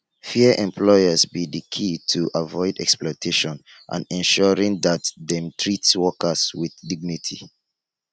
fair employers be di key to avoid exploitation and ensuring dat dem treat workers with dignity